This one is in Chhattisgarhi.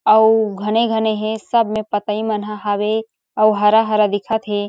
अउ घने-घने हे सब में पातेई मन ह हावे अउ हरा-हरा दिखत हे।